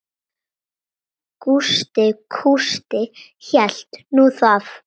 Gústi kústi hélt nú það.